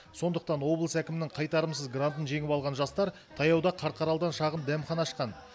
сондықтан облыс әкімінің қайтарымсыз грантын жеңіп алған жастар таяуда қарқаралыдан шағын дәмхана ашқан